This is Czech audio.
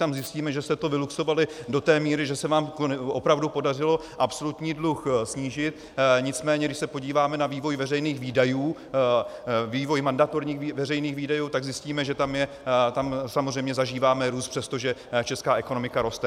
Tam zjistíme, že jste to vyluxovali do té míry, že se vám opravdu podařilo absolutní dluh snížit, nicméně když se podíváme na vývoj veřejných výdajů, vývoj mandatorních veřejných výdajů, tak zjistíme, že tam samozřejmě zažíváme růst, přestože česká ekonomika roste.